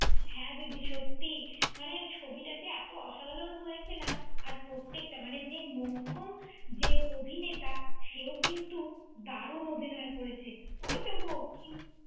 হ্যাঁ দিদি সত্যি। মানে ছবিটা যে টা এত অসাধারণ হয়েছে না, আর প্রত্যেকটা মানে যে মোক্ষম যে অভিনেতা, সেও কিন্তু, দারুণ অভিনয় করেছে। ওই তো গো কি~